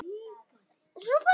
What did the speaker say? Þá var ég þrettán ára.